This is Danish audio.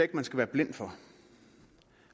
man skal være blind for